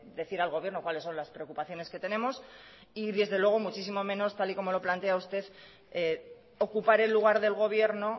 decir al gobierno cuáles son las preocupaciones que tenemos y desde luego y muchísimo menos tal como lo plantea usted ocupar el lugar del gobierno